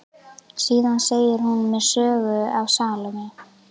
Síðan segir hún mér söguna af Salóme.